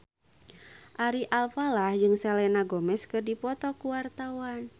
Ari Alfalah jeung Selena Gomez keur dipoto ku wartawan